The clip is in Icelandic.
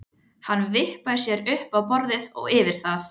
Hann vippaði sér upp á borðið og yfir það.